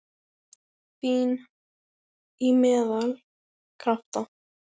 Fín- Í meðal- Krafta